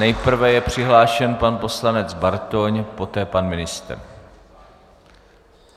Nejprve je přihlášen pan poslanec Bartoň, poté pan ministr.